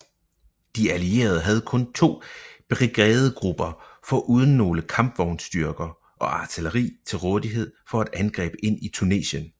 De allierede havde kun to brigadegrupper foruden nogle kampvognsstyrker og artilleri til rådighed for et angreb ind i Tunesien